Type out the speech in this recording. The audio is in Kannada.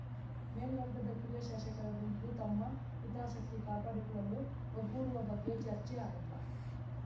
ಮೇಲ್ವರ್ಗದ ಕಿರಿಯ ಶಾಸಕರ ಗುಂಪು ತಮ್ಮ ಹಿತಾಸಕ್ತಿ ಕಾಪಾಡಿಕೊಳ್ಳಲು ಒಗ್ಗೂಡುವ ಬಗ್ಗೆ ಚರ್ಚೆ ಆರಂಭ